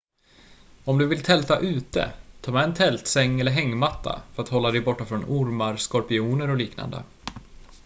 om du vill tälta ute ta med en tältsäng eller hängmatta för att hålla dig borta från ormar skorpioner och liknande